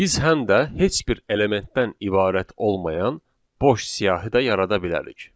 Biz həm də heç bir elementdən ibarət olmayan boş siyahı da yarada bilərik.